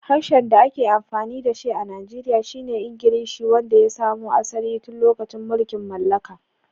Harshen da ake amfani da shi a Najeriya shi ne Ingilishi, wanda ya samo asali tun lokacin mulkin mallaka.